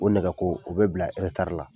O nɛgɛ ko , o be bila la.